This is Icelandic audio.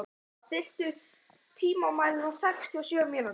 Alma, stilltu tímamælinn á sextíu og sjö mínútur.